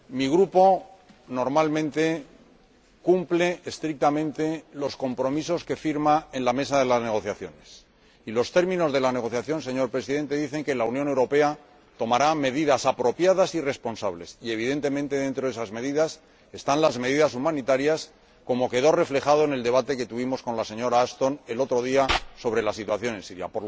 Mi Grupo, normalmente, cumple estrictamente los compromisos que firma en la mesa de negociaciones, y los términos de la negociación, señor Presidente, dicen que la Unión Europea tomará medidas apropiadas y responsables. Evidentemente, dentro de esas medidas están las medidas humanitarias, como quedó reflejado en el debate que tuvimos con la señora Ashton, el otro día, sobre la situación en Siria.